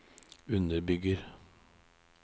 underbygger